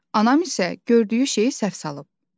Anam isə gördüyü şeyi səhv salıb.